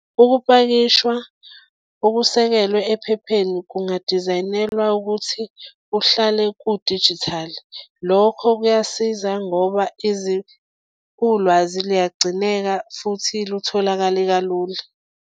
Ukupakishwa okusekelwe ephepheni kungadizayinelwa ukuthi kuhlale kudijithali. Lokho kuyasiza ngoba ulwazi luyagcineka futhi lutholakale kalula.